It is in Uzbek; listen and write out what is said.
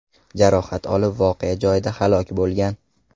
jarohat olib voqea joyida halok bo‘lgan.